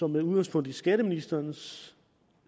med udgangspunkt i skatteministerens